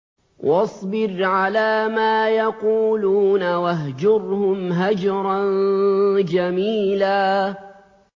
وَاصْبِرْ عَلَىٰ مَا يَقُولُونَ وَاهْجُرْهُمْ هَجْرًا جَمِيلًا